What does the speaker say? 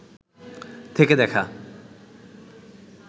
থেকে দেখা